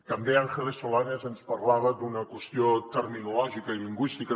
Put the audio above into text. també ángeles solanes ens parlava d’una qüestió terminològica i lingüística